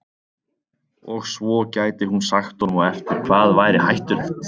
Og svo gæti hún sagt honum á eftir hvað væri hættulegt.